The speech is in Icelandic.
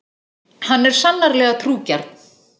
Hann er sannarlega trúgjarn.